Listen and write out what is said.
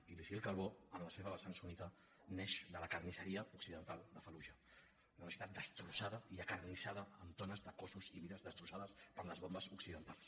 i l’isil calbó en la seva vessant sunnita neix de la carnisseria occidental de fallujah una ciutat destrossada i acarnissada amb tones de cossos i vides destrossades per les bombes occidentals